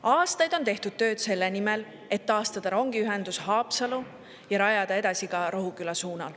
Aastaid on tehtud tööd selle nimel, et taastada rongiühendus Haapsaluga ja rajada see edasi ka Rohukülani.